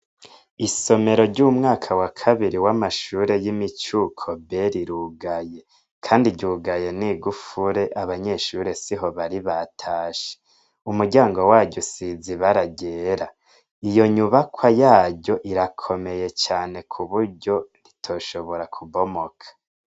Isomero ryumwaka wa kabiri wamashure yimicuko B rirugaye kandi ryugaye nigufuri abanyeshure siho bari batashe umuryango waryo usize ibara ryera iyo nyubakwa yaryo irakomeye cane kuburyo ritoshobora kubomoka